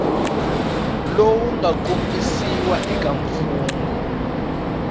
lowu nga kombisiwa eka mfungho